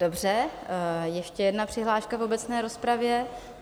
Dobře, ještě jedna přihláška v obecné rozpravě.